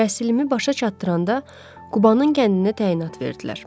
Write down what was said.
Təhsilimi başa çatdıranda Qubanın kəndinə təyinat verdilər.